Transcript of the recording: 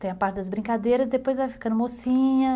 Tem a parte das brincadeiras, depois vai ficando mocinha...